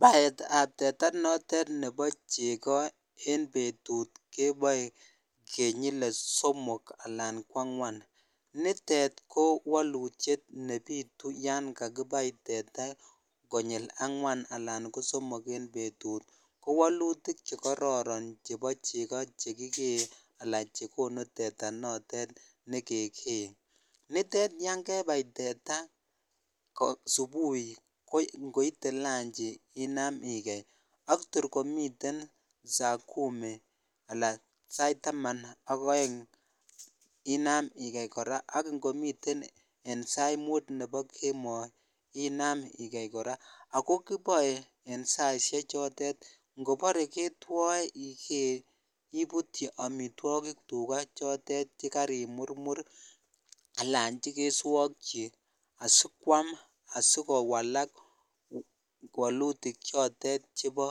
Baet ab teta notet nebo chego en betut keboe kenyile somok alan ko angwan, mitet ko walutiet nebitu yan kakibai teta konyil angwan alan ko somok en betut ko walutik chekororon chebo chego chegigee alan chegonu teta notet negegee, nitet yan kebai teta kong'eten subui ko ingoite lanchi inam igei, ak tor komiten saa kumi ala sait taman ak oeng inam igei kora ak ingomiten en sait muut nebo kemoi inam igei kora, ako kiboe en saisiek chotet, ingobore ketwo igee ibutyi omitwogik tuga chotet chekarimurmur alan chegeswokyi asikwam asikowalak wolutik chotet chebo